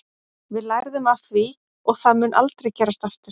Við lærðum af því og það mun aldrei gerast aftur.